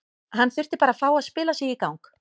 Hann þurfti bara að fá að spila sig í gang.